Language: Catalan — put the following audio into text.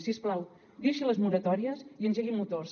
si us plau deixi les moratòries i engegui motors